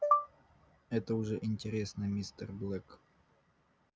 это уже интересно мистер блэк